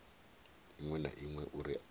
iṅwe na iṅwe uri i